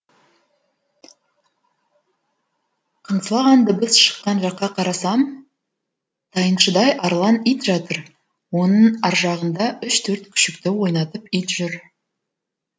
қыңсылаған дыбыс шыққан жаққа қарасам тайыншадай арлан ит жатыр оның аржағында үш төрт күшікті ойнатып ит жүр